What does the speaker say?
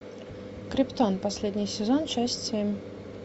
криптон последний сезон часть семь